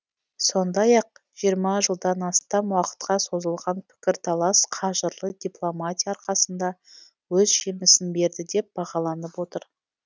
сондай ақ жиырма жылдан астам уақытқа созылған пікірталас қажырлы дипломатия арқасында өз жемісін берді деп бағаланып отыр